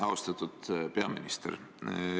Austatud peaminister!